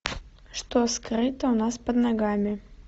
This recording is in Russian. что скрыто у нас под ногами